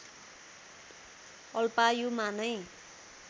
अल्पायुमा नै